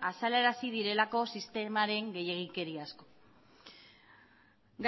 azalerazi direlako sistemaren gehiegikeri asko